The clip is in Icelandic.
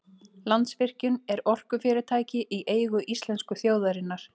Landsvirkjun er orkufyrirtæki í eigu íslensku þjóðarinnar.